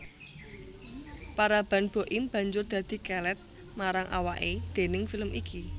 Paraban Boim banjur dadi kelèt marang awaké déning film iki